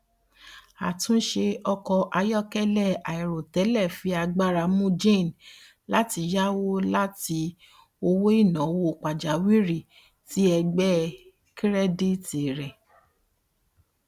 atunṣe ọkọ ayọkẹlẹ airotẹlẹ fi agbara mu jane lati yawo lati owoinawo pajawiri ti ẹgbẹ kirẹditi rẹ